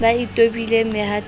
ba e tobileng mehatong ya